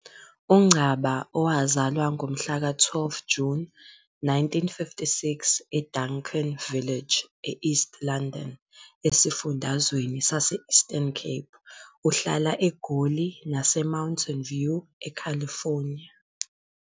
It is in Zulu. UNgcaba owazalwa ngomhlaka-12 Juni 1956, eDuncan Village, e-East London, esifundazweni sase-Eastern Cape, uhlala eGoli naseMountain View, eCalifornia.